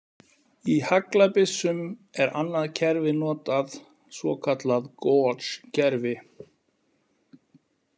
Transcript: Í haglabyssum er annað kerfi notað, svokallað Gauge-kerfi.